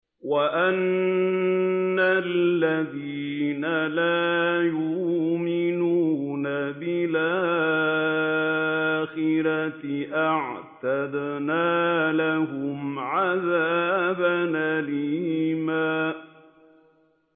وَأَنَّ الَّذِينَ لَا يُؤْمِنُونَ بِالْآخِرَةِ أَعْتَدْنَا لَهُمْ عَذَابًا أَلِيمًا